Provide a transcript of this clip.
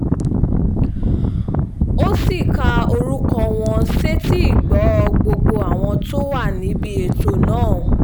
ó sì ka orúkọ wọn sétíìgbọ́ gbogbo àwọn tó wà níbi ètò náà